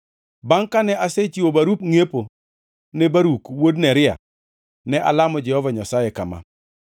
“Bangʼ kane asechiwo barup ngʼiepo ne Baruk wuod Neria, ne alamo Jehova Nyasaye kama: